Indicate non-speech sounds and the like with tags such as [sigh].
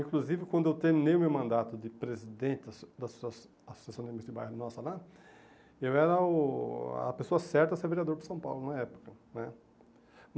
Inclusive, quando eu terminei o meu mandato de presidente da Asso da Asso Associação de [unintelligible] de Bairro Nossa lá, eu era o a pessoa certa a ser vereador de São Paulo na época né.